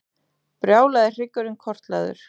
Brjálaði hryggurinn kortlagður